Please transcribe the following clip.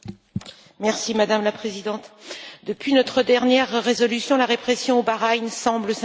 Madame la Présidente, depuis notre dernière résolution, la répression au Bahreïn semble s'intensifier.